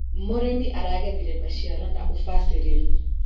Mũrĩmi aragethire maciaro na ũbacĩrĩru.